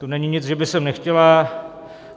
To není nic, že by sem nechtěla.